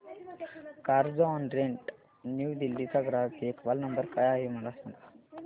Carzonrent New Delhi चा ग्राहक देखभाल नंबर काय आहे मला सांग